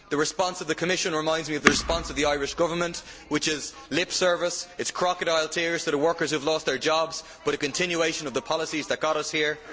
The response of the Commission reminds me of the response of the Irish Government, which is mere lip service crocodile tears for the workers who have lost their jobs, but a continuation of the policies that got us here.